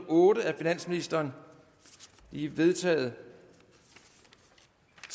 otte af finansministeren de er vedtaget